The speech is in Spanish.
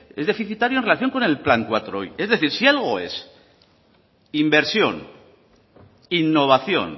es deficitario en relación con el plan laui es decir si algo es inversión innovación